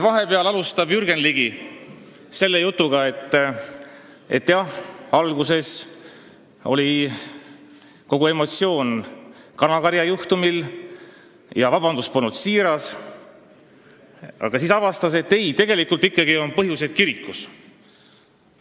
Vahepeal alustab Jürgen Ligi selle jutuga, et jah, alguses oli kogu emotsioon seotud kanakarja juhtumiga ja vabandus polnud siiras, siis aga avastas ta, et tegelikult on põhjused kirikus.